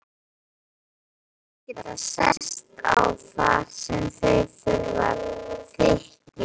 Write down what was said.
Menn eiga að geta sest að þar sem þurfa þykir.